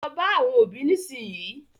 Lọ bá àwọn òbí nísìnyìí.